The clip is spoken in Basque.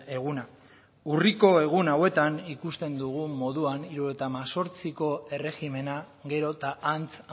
eguna urriko egun hauetan ikusten dugun moduan hirurogeita hemezortziko erregimena gero eta antz